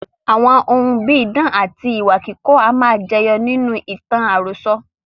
Àwọn ohun bíi idán, àti ìwà kíkọ́ a máa jẹyọ nínú ìtàn àròsọ.